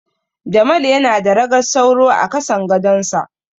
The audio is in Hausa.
Jamal yana da ragar sauro a kasan gadonsa.